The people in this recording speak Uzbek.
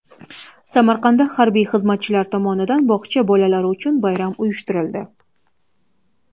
Samarqandda harbiy xizmatchilar tomonidan bog‘cha bolalari uchun bayram uyushtirildi .